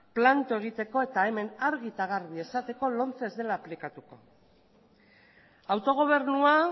planto egiteko eta hemen argi eta garbi esateko lomce ez dela aplikatuko autogobernua